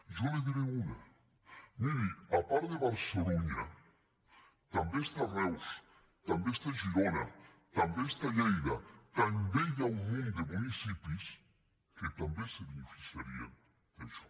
jo n’hi diré una miri a part de barcelunya també està reus també està girona també està lleida també hi ha un munt de municipis que també se beneficiarien d’això